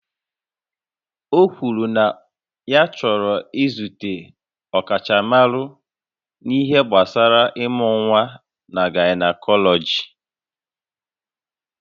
O kwuru na ya chọrọ izute ọkachamara n'ihe gbasara ịmụ nwa na gaịnakọlọji